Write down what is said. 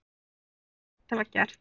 Það mundum við flest hafa gert.